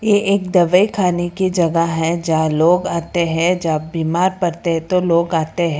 ये एक दवाई खाने की जगह है जहां लोग आते हैं जब बीमार पड़ते है तो लोग आते हैं।